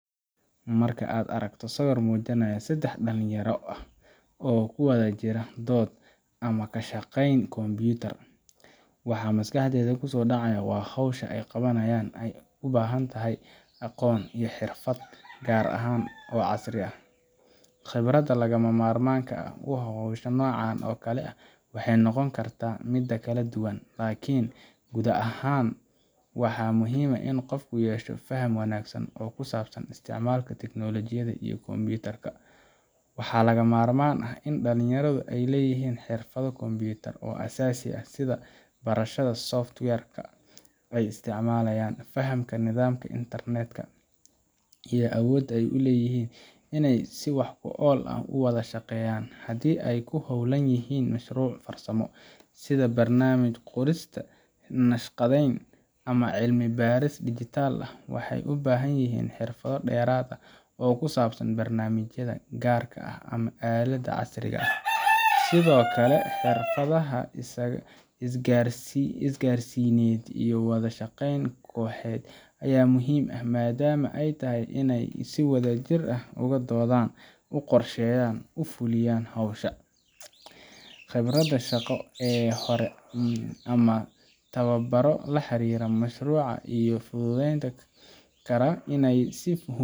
Marka aad aragto sawir muujinaya saddex dhalinyaro ah oo ku wada jira dood ama ka shaqeynaya kombiyuutar, waxa maskaxdaada ku soo dhacaya in hawsha ay qabanayaan ay u baahan tahay aqoon iyo xirfado gaar ah oo casri ah. Khibradda lagama maarmaanka u ah hawsha noocan oo kale ah waxay noqon kartaa mid kala duwan, laakiin guud ahaan waxaa muhiim ah in qofku yeesho faham wanaagsan oo ku saabsan isticmaalka tiknoolajiyada iyo kombiyuutarka. Waxaa lagama maarmaan ah in dhalinyaradu ay leeyihiin xirfado kombiyuutar oo aasaasi ah sida barashada software ka ay isticmaalayaan, fahamka nidaamyada internetka, iyo awooda ay u leeyihiin inay si wax ku ool ah u wada shaqeeyaan. Haddii ay ku hawlan yihiin mashruuc farsamo, sida barnaamij qorista, naqshadeyn, ama cilmi baaris dijitaal ah, waxay u baahan yihiin xirfado dheeraad ah oo ku saabsan barnaamijyada gaarka ah ama aaladaha casriga ah. Sidoo kale, xirfadaha isgaarsiineed iyo wada shaqeynta kooxeed ayaa muhiim ah, maadaama ay tahay in ay si wadajir ah uga doodaan, u qorsheeyaan, una fuliyaan hawsha. Khibradda shaqo ee hore ama tababarro la xiriira mashruuca iyo fududeynta